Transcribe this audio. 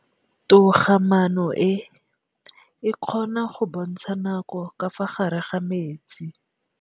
Toga-maanô e, e kgona go bontsha nakô ka fa gare ga metsi.